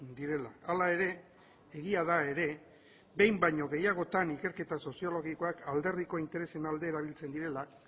direla hala ere egia da ere behin baino gehiagotan ikerketa soziologikoak alderdiko interesen alde erabiltzen direla